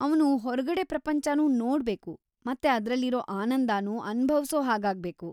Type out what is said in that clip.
ಅವ್ನು ಹೊರ್ಗಡೆ ಪ್ರಪಂಚನೂ ನೋಡ್ಬೇಕು ಮತ್ತೆ ಅದ್ರಲ್ಲಿರೋ ಆನಂದನೂ ಅನುಭವ್ಸೋ ಹಾಗಾಗ್ಬೇಕು.